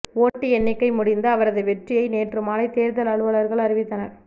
ஓட்டு எண்ணிக்கை முடிந்து அவரது வெற்றியை நேற்று மாலை தேர்தல் அலுவலர்கள் அறிவித்தனர்